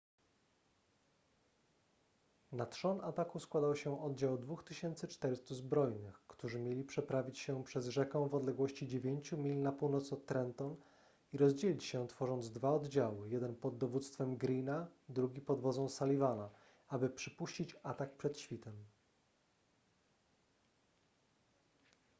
na trzon ataku składał się oddział 2400 zbrojnych którzy mieli przeprawić się przez rzekę w odległości dziewięciu mil na północ od trenton i rozdzielić się tworząc dwa oddziały jeden pod dowództwem greene'a drugi pod wodzą sullivana aby przypuścić atak przed świtem